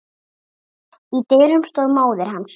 Í dyrunum stóð móðir hans.